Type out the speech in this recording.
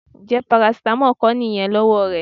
Ǹjẹ́ parasítámọ̀ kọ́ nìyẹn lọ́wọ́ rẹ?